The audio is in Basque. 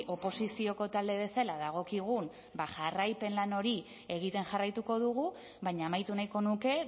oposizioko talde bezala dagokigun jarraipen lan hori egiten jarraituko dugu baina amaitu nahiko nuke